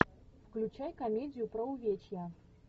включай комедию про увечья